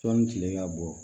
Sɔnni kile ka bɔ